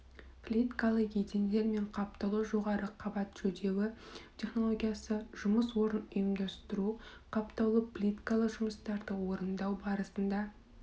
плиткалы едендер мен қаптаулы жоғары қабат жөдеуі технологиясы жұмыс орнын ұйымдастыру қаптаулы плиткалы жұмыстарды орындау барысында